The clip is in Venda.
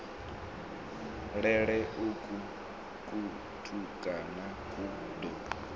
lele uku kutukana ku ḓo